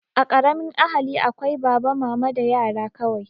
A ƙaramin ahali akwai baba, mama da yara kawai